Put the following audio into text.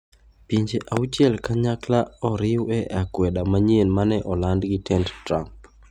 Pinje auchiel kanyakla oriw e akwede manyien ma ne oland gi tend Trump.